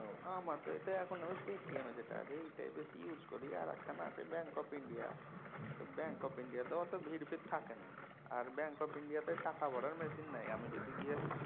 আমার তো এতে আমার পেটিএম যেটা আছে আর এইটাই বেশি use করি আরেক খানা আছে Bank Of India তো Bank Of India তে অত ভিড় ফির থাকেনা। আর Bank Of India তে টাকা ভরার machine নাই। আমি যদি গিয়া